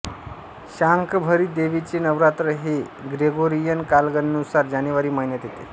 शाकंभरी देवीचे नवरात्र हे ग्रेगोरियन कालगणनेनुसार जानेवारी महिन्यात येते